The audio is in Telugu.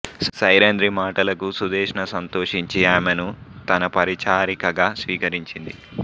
సైరంధ్రి మాటలకు సుధేష్ణ సంతోషించి ఆమెను తన పరిచారికగా స్వీకరించింది